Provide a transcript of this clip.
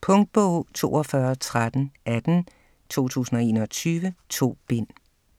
Punktbog 421318 2021. 2 bind.